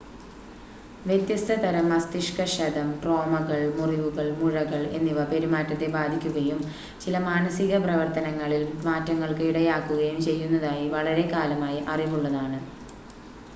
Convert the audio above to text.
വ്യത്യസ്ത തരം മസ്തിഷ്ക ക്ഷതം ട്രോമകൾ മുറിവുകൾ മുഴകൾ എന്നിവ പെരുമാറ്റത്തെ ബാധിക്കുകയും ചില മാനസിക പ്രവർത്തനങ്ങളിൽ മാറ്റങ്ങൾക്ക് ഇടയാക്കുകയും ചെയ്യുന്നതായി വളരെക്കാലമായി അറിവുള്ളതാണ്